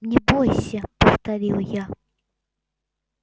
не бойся повторил я